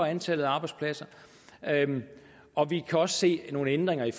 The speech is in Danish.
antallet af arbejdspladser og vi kan også se at nogle af ændringerne i